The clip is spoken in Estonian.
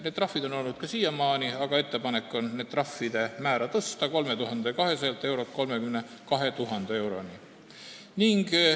Need trahvid on olnud olemas ka siiamaani, aga ettepanek on tõsta nende määra 3200 eurost 32 000 euroni.